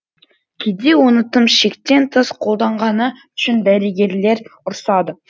кейде оны тым шектен тыс қолданғаны үшін дәрігерлер ұрсады